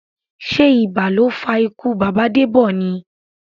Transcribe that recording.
Sé ibà ló fa ikú bàbá Debọ ni?